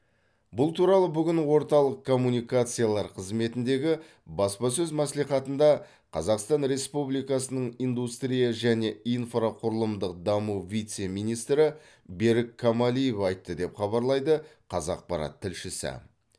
бұл туралы бүгін орталық коммуникациялар қызметіндегі баспасөз мәслихатында қазақстан республикасының индустрия және инфрақұрылымдық даму вице министрі берік камалиев айтты деп хабарлайды қазақпарат тілшісі